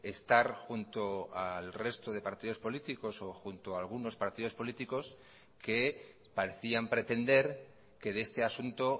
estar junto al resto de partidos políticos o junto a algunos partidos políticos que parecían pretender que de este asunto